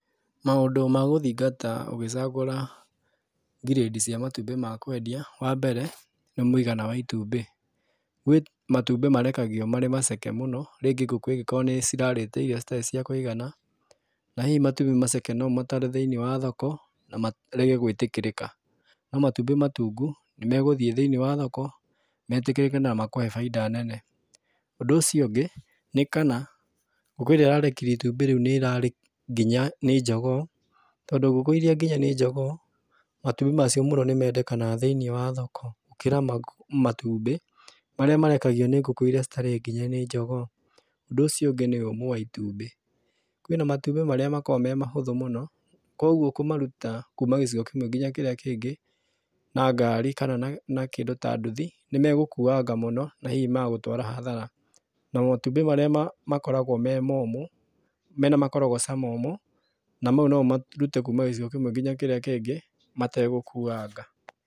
Maũndũ ma gũthingata ũgĩcagũra ngirĩndi cia matumbĩ ma kwendia, wa mbere, nĩ mũigana wa itumbĩ. Gwĩ matumbĩ marekagio marĩ maceke mũno, rĩngĩ ngũkũ ĩngĩkorwo nĩcirarĩte irio citarĩ cia kũigana, na hihi matumbĩ maceke no ũmatware thĩiniĩ wa thoko, na marege gwĩtĩkĩrĩka. No matumbĩ matungu, nĩmegũthiĩ thĩini wa thoko metĩkĩrĩke na makũhe bainda nene. Ũndũ ũcio ũngĩ, nĩ kana ngũkũ ĩrĩa ĩrarekirie itumbĩ rĩu nĩ ĩrarĩ nginye nĩ njogoo, tondũ ngũkũ iria nginye nĩ njogoo matumbĩ macio mũno nĩmendekenaga thĩiniĩ wa thoko gũkĩra matumbĩ marĩa marekagio nĩ ngũkũ iria citarĩ nginye nĩ njogoo. Ũndũ ũcio ũngĩ nĩ ũmũ wa itumbĩ. Kwĩna matumbĩ marĩa makoragwo me mahũthũ mũno, kuoguo kũmaruta kuma gĩcigo kĩmwe nginya kĩrĩa kĩngĩ na ngari kana na kĩndũ ta nduthi, nĩmegũkuanga mũno na hihi magagũtwara hathara. Na matumbĩ marĩa makoragwo me momũ, mena makorogoca momũ, na mau no ũmarute kuuma gĩcigo kĩmwe kinya kĩrĩa kĩngĩ mategũkuanga.